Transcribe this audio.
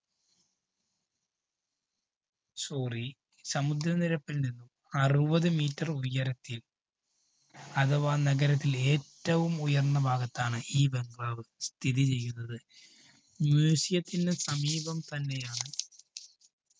sorry സമുദ്രനിരപ്പില്‍ നിന്നും അറുപത്‌ meter ഉയരത്തില്‍ അഥവാ നഗരത്തില്‍ ഏറ്റവും ഉയര്‍ന്ന ഭാഗത്താണ് ഈ bungalow വ് സ്ഥിതിചെയ്യുന്നത്. museum ത്തിന് സമീപം തന്നെയാണ്